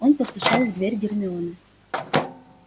он постучал в дверь гермионы